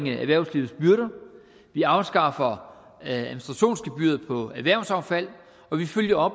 erhvervslivets byrder vi afskaffer administrationsgebyret på erhvervsaffald og vi følger